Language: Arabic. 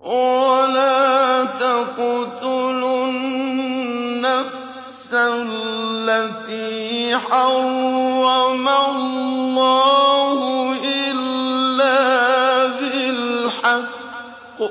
وَلَا تَقْتُلُوا النَّفْسَ الَّتِي حَرَّمَ اللَّهُ إِلَّا بِالْحَقِّ ۗ